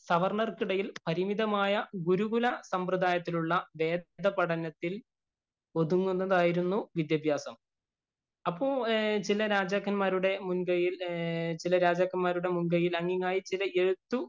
സവര്‍ണ്ണര്‍ക്കിടയില്‍ പരിമിതമായ ഗുരുകുലസമ്പ്രദായത്തിലുള്ള വേദപഠനത്തില്‍ ഒതുങ്ങുന്നതായിരുന്നു വിദ്യാഭ്യാസം. അപ്പൊ ചില രാജാക്കന്മാരുടെ മുന്‍കയ്യില്‍ ചില രാജാക്കന്മാരുടെ മുന്‍കയ്യില്‍അങ്ങിങ്ങായി ചില എഴുത്തു